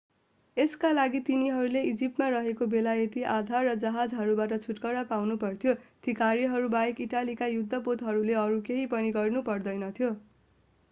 यसका लागि तिनीहरूले इजिप्टमा रहेका बेलायती आधार र जहाजहरूबाट छुटकारा पाउनुपर्थ्यो ती कार्यहरूबाहेक इटालीका युद्धपोतहरूले अरू केही पनि गर्नु पर्दैनथ्यो